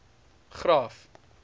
graaff